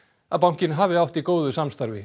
að bankinn hafi átt í góðu samstarfi